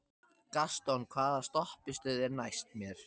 Gaston, hvaða stoppistöð er næst mér?